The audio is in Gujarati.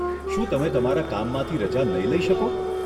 શું તમે તમારા કામમાંથી રજા નહીં લઇ શકો?